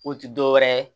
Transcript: O ti dɔwɛrɛ ye